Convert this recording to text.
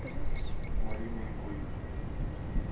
мариной бойко